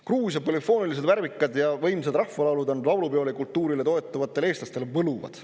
Gruusia polüfoonilised värvikad ja võimsad rahvalaulud on laulupeokultuurile toetuvate eestlaste arvates võluvad.